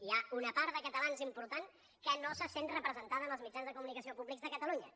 hi ha una part de catalans important que no se sent representada en els mitjans de comunicació públics de catalunya